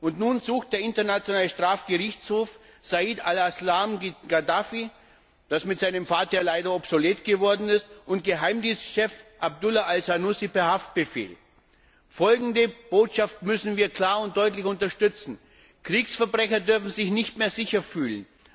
Und nun sucht der Internationale Strafgerichtshof Saif al Islam Gaddafi, da dies bei seinem Vater ja leider obsolet geworden ist, und Geheimdienstchef Abdullah Al Senussi per Haftbefehl. Folgende Botschaft müssen wir klar und deutlich unterstützen Kriegsverbrecher dürfen sich nicht mehr sicher fühlen!